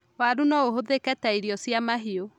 Waru no ũhũthĩke ta irio cia mahiũ.